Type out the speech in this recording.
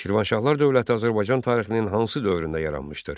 Şirvanşahlar dövləti Azərbaycan tarixinin hansı dövründə yaranmışdır?